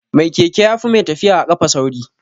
Mai keke yafi mai tafiya a kafa sauri